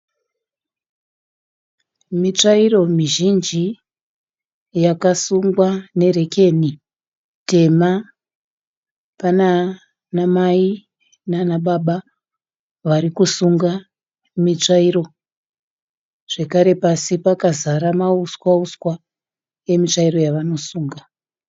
Mitsvairo mizhinji yakasungwa nerekeni tema. Panana mai nana baba vari kusunga mitsvairo, zvekare pasi pakazara mauswa uswa emutsvairo yavanosunga.